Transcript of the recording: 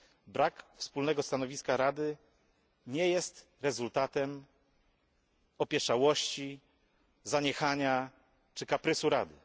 Brak wspólnego stanowiska Rady nie jest rezultatem opieszałości, zaniechania czy kaprysu Rady.